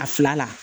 A fila la